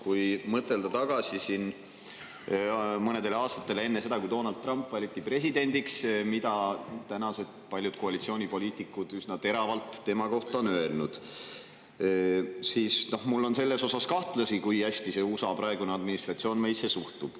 Kui mõelda tagasi mõnele aastale enne seda, kui Donald Trump valiti presidendiks, kuidas paljud tänased koalitsioonipoliitikud ütlesid üsna teravalt tema kohta, siis mul on selles osas kahtlusi, kui hästi USA praegune administratsioon meisse suhtub.